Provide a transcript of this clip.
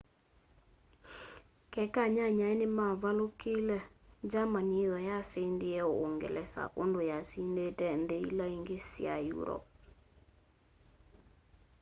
keka anyanyae nimavalukile germany yithwa yasindie uungelesa undu yasindite nthi ila ingi sya europe